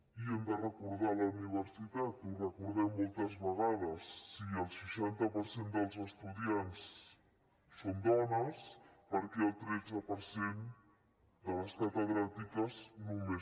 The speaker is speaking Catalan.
i hem de recordar la universitat ho recordem moltes vegades si el seixanta per cent dels estudiants són dones per què el tretze per cent de les catedràtiques només